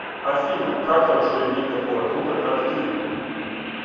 афина как хорошо иметь такого друга как ты